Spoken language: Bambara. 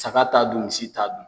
Saka t'a dun misi t'a dun.